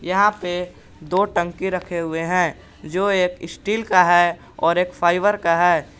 यहाँ पे दो टंकी रखे हुए हैं जो एक स्टील का है और एक फाइबर का है।